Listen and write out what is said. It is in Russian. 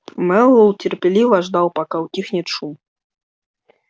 мэллоу терпеливо ждал пока утихнет шум